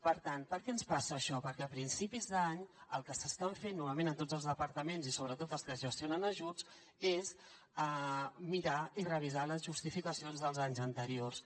per tant per què ens passa això perquè a principis d’any el que s’està fent novament a tots els departaments i sobretot als que gestionen ajuts és mirar i revisar les justificacions dels anys anteriors